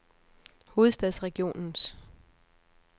Hovedstadsregionens